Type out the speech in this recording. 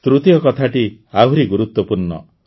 ତୃତୀୟ କଥାଟି ଆହୁରି ଗୁରୁତ୍ୱପୂର୍ଣ୍ଣ